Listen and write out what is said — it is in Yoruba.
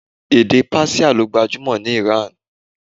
Èdè Persia ló gbajúmò ní Iran.